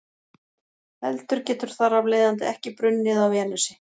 Eldur getur þar af leiðandi ekki brunnið á Venusi.